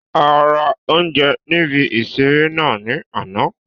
A ra oúnjẹ níbi ìseré náà ní àná